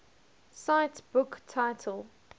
cite book title